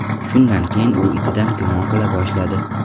Shundan keyin u itidan gumon qila boshladi.